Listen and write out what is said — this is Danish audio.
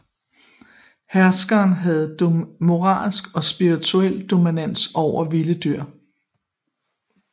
Herskeren havde moralsk og spirituel dominans over vilde dyr